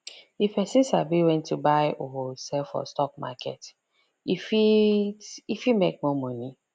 if person sabi when to buy or sell for stock market e fit e fit make more money